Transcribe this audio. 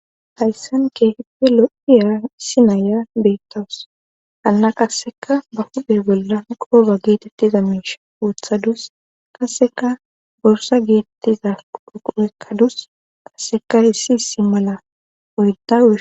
hayssan kehippe lo7iya isinaya beettawus hanna qasseka ba huddher bolla qooba geetettiza miish wothadus kasseka borsa geettiza uquekkadus qasseka issi issi mala oydau